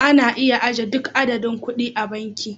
Ana iya ajiye duk adadin kuɗi a banki